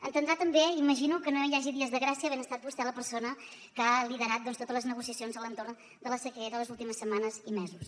entendrà també m’imagino que no hi hagi dies de gràcia havent estat vostè la persona que ha liderat doncs totes les negociacions a l’entorn de la sequera les últimes setmanes i mesos